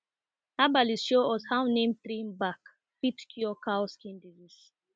herbalist show us how neem tree bark fit cure cow skin disease